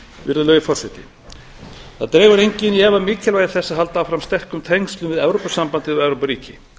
virðulegi forseti það dregur enginn í efa mikilvægi þess að halda áfram sterkum tengslum við evrópusambandið og evrópuríki